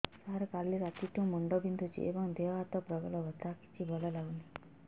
ସାର କାଲି ରାତିଠୁ ମୁଣ୍ଡ ବିନ୍ଧୁଛି ଏବଂ ଦେହ ହାତ ପ୍ରବଳ ବଥା କିଛି ଭଲ ଲାଗୁନି